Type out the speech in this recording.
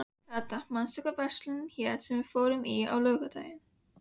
Kata, manstu hvað verslunin hét sem við fórum í á miðvikudaginn?